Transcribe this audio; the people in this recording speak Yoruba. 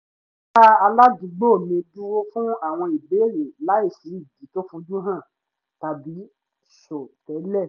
wọ́n dá aládùúgbò mi dúró fún àwọn ìbéèrè láìsí ìdí to fojú hàn tàbí sọ tẹ́lẹ̀